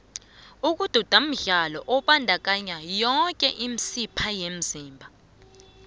ukududa mdlalo obandakanya yoke imisipha emzimbeni